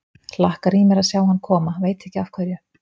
Hlakkar í mér að sjá hann koma, veit ekki af hverju.